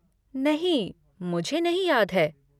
नहीं, मुझे नहीं याद है।